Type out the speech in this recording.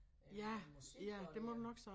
Øh med musik og der